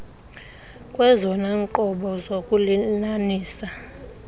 kwezona nqobo zokulinanisa